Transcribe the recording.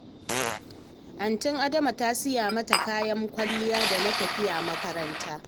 Antin Adama ta siya mata kayan kwalliya da na tafiya makaranta